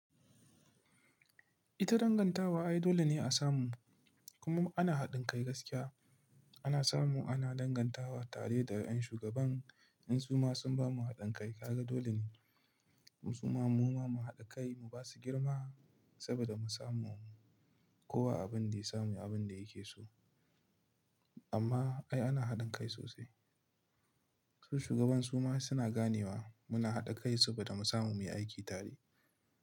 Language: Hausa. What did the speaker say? Ita dangantawa ai dole ne a samu kuma ana haɗin kai gaskiya. Ana samu ana dangantawa tare da ƴan shugaban. In su ma sun bamu haɗin kai, kaga dole ne. Su ma mu ma mu haɗa kai mu ba su girma saboda mu samu kowa abin da ya samu abin da yake so. Amma ai ana haɗin kai sosai. To shugaban su ma suna ganewa muna haɗa kai saboda mu samu muyi aiki tare.